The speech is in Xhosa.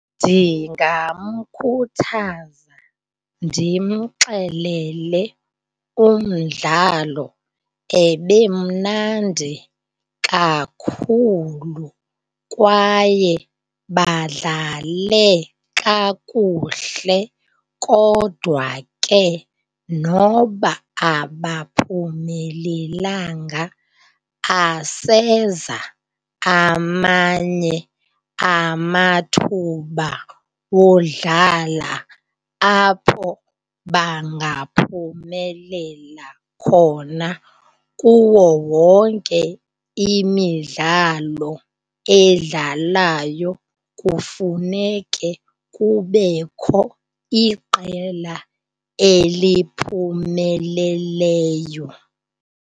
Ndingamkhuthaza ndimxelele umdlalo ebemnandi kakhulu kwaye badlale kakuhle kodwa ke noba abaphumelelanga aseza amanye amathuba wodlala apho bangaphumelela khona. Kuwo wonke imidlalo edlalayo kufuneke kubekho iqela eliphumeleleyo.